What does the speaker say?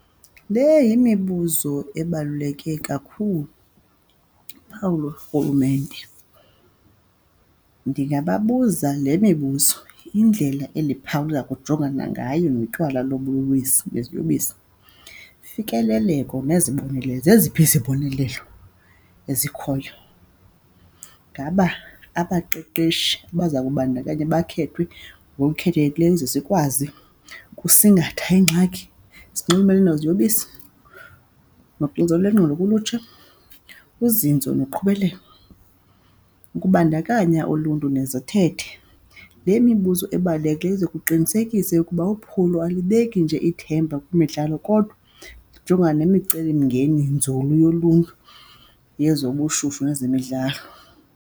Le yimibuzo ebaluleke kakhulu, luphawu lorhulumente. Ndingababuza le mibuzo, indlela endiphawula kujonganwa ngayo notywala neziyobisi, ufikeleleko nezibonelelo. Zeziphi izibonelelo ezikhoyo, ngaba abaqeqeshi baza kubandakanya bakhethwe ngokukhethekileyo ukuze sikwazi ukusingatha iingxaki ezinxulumene neziyobisi, noxinzelelo lwengqondo kulutsha, uzinzo nokuqhubeleka ukubandakanya uluntu nezithethe. Le mibuzo ebaluleke ukuze kuqinisekiswe ukuba uphulo alibeki nje ithemba kwimidlalo, kodwa ijongana nemicelimngeni nzulu yoluntu yezobushushu nezemidlalo.